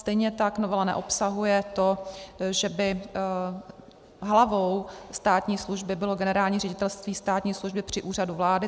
Stejně tak novela neobsahuje to, že by hlavou státní služby bylo Generální ředitelství státní služby při Úřadu vlády.